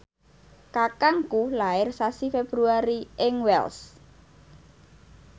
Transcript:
kakangku lair sasi Februari ing Wells